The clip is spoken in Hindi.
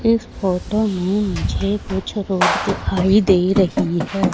इस फोटो में मुझे कुछ रोड दिखाई दे रही है।